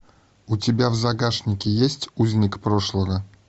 у тебя в загашнике есть узник прошлого